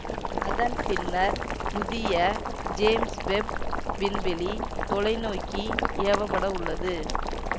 அதன் பின்னர் புதிய ஜேம்ஸ் வெப் விண்வெளி தொலைநோக்கி ஏவப்பட உள்ளது